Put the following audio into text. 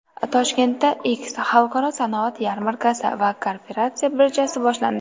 Toshkentda X Xalqaro sanoat yarmarkasi va Kooperatsiya birjasi boshlandi.